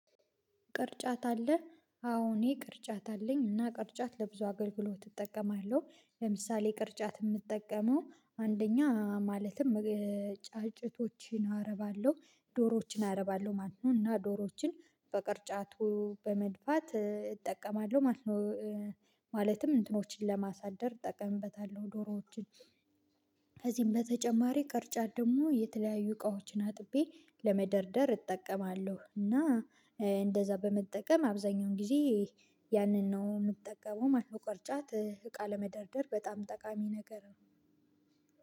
ቅርጫት አለ አዎ እኔ ቅርጫት አለኝ እና ቅርጫት ለብዙ አገልግሎት እጠቀማለሁ። ለምሳሌ የምጠቀመው አንደኛ ማለትም ጫጭቶችን አረባለሁ ዶሮዎችን አረባለሁ ማለት ነው። እና ዶሮዎችን በቅርጫቱ በመድፋት እጠቀማለሁ። ማለት ነው እንትኖችን ለማሳደር ጠቀምበታለሁ ዶሮዎችን ከዚህም በተጨማሪ ቅርጫት ደግሞ የተለያዩ እቃዎችን አጥቤ ለመደርደር እጠቀማለሁ። እና እንደዛ በመጠቀም አብዛኛውን ጊዜ ያንን ነው የምጠቀመው ማለት ቅርጫት እቃ ለመደርደር በጣም ጠቃሚ ነገር ነው።